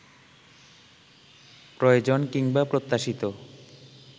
প্রয়োজন কিংবা প্রত্যাশিত